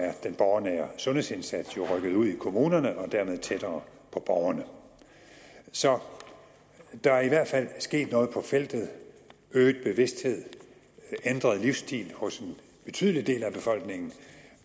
borgernære sundhedsindsats jo rykket ud i kommunerne og dermed tættere på borgerne så der er i hvert fald sket noget på feltet øget bevidsthed ændret livsstil hos en betydelig del af befolkningen